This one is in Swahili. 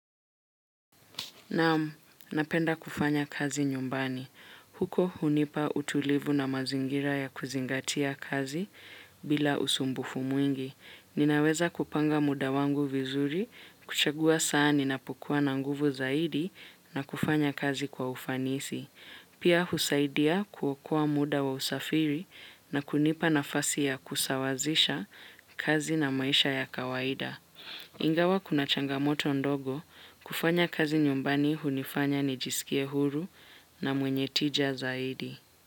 Naam, napenda kufanya kazi nyumbani. Huko hunipa utulivu na mazingira ya kuzingatia kazi bila usumbufu mwingi. Ninaweza kupanga muda wangu vizuri, kuchagua saa ninapokuwa na nguvu zaidi na kufanya kazi kwa ufanisi. Pia husaidia kuokoa muda wa usafiri na kunipa nafasi ya kusawazisha kazi na maisha ya kawaida. Ingawa kuna changamoto ndogo kufanya kazi nyumbani hunifanya nijisikie huru na mwenye tija zaidi.